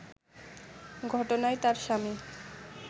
ঘটনায় তার স্বামী